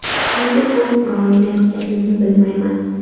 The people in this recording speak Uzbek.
Nega gol ura olmayotganimni bilmayman.